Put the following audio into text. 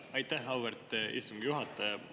Aitäh, auväärt istungi juhataja!